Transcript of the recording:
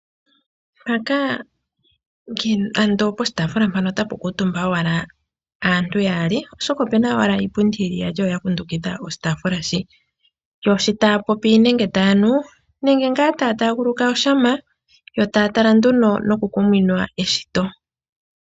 Ando mpaka otapu kuutumbwa owala aantu yaali oshoka opu na owala iipundi iyali ya kundukidha oshitaafula shi, yo sho taya popi nenge taya nu, nenge ngaa taguluka oshama, yo taya tala nduno nokukumwina eshito.